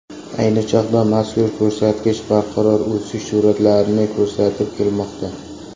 Ayni chog‘da mazkur ko‘rsatkich barqaror o‘sish sur’atlarini ko‘rsatib kelmoqda.